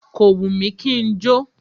Kò wù mí kí n jó.